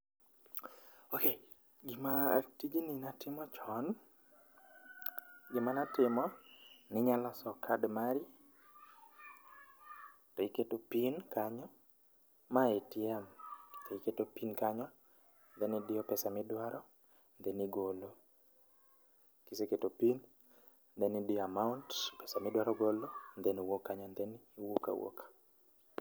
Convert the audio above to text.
ok, gima, tijni natimo chon. Gima natimo, ninya loso kad mari, iketo pin kanyo, mae ATM, iketo pin kanyo then idiyo pesa midwaro then igolo. Kiseketo pin then idiyo amount, pesa midwaro golo then wuok kanyo then iwuok awuoka